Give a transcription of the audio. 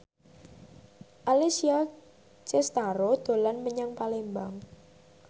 Alessia Cestaro dolan menyang Palembang